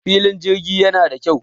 filin jirgi yana da kyau